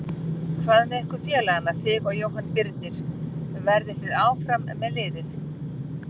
Hvað með ykkur félagana þig og Jóhann Birnir, verðið þið áfram með liðið?